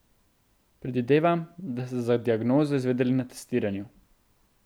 Predvidevam, da ste za diagnozo izvedeli na testiranju.